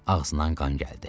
Ağzından qan gəldi.